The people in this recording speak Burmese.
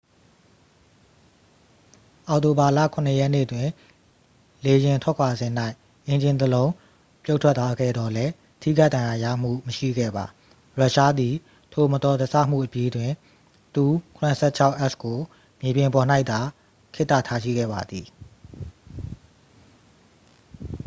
အောက်တိုဘာလ 7 ရက်နေ့တွင် လေယာဉ်ထွက်ခွာစဉ်၌ အင်ဂျင်တစ်လုံး ပြုတ်ထွက်သွားခဲ့သော်လည်း ထိခိုက်ဒဏ်ရာရမှုမရှိခဲ့ပါ ရုရှားသည် ထိုမတော်တဆမှုအပြီးတွင် il-76s ကို မြေပြင်ပေါ်၌သာ ခေတ္တထားရှိခဲ့ပါသည်